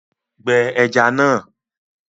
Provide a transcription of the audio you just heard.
Gbẹ ẹja náà